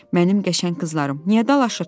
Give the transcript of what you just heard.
Mənim qəşəng qızlarım, niyə dalaşırsız?